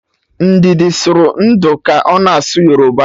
Ndidi sụrụ ndụ ka ọ na-asụ Yoruba